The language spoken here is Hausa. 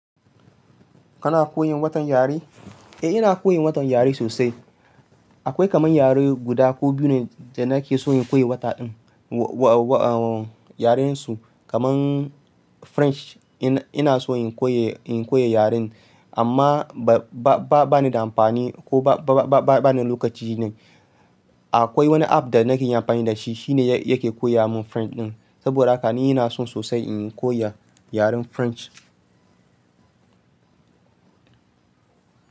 Kana koyin watan yare? Eh ina koyin watan yare sosai. Akwai kaman yare guda ko biyu ne da nake so in koyi wata ɗin. Wa-wa-wa, uhm, yaren su kaman French in ina son in koya, in koya yaren amma ba-ba-ba ni da amfani ko ba-ba-ba ni da lokaci ne. Akwai wani app da nake yin amfani da shi, shi ne yake koya mun French din saboda haka ni ina so sosai in koya yaren French.